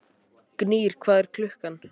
Gnýr, hvað er klukkan?